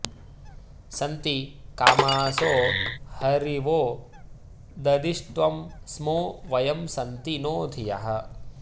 सन्ति कामासो हरिवो ददिष्ट्वं स्मो वयं सन्ति नो धियः